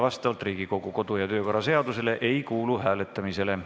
Vastavalt Riigikogu kodu- ja töökorra seadusele ei kuulu see hääletamisele.